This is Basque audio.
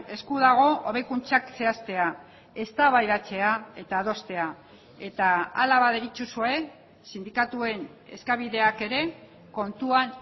esku dago hobekuntzak zehaztea eztabaidatzea eta adostea eta hala baderitzozue sindikatuen eskabideak ere kontuan